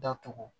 Datugu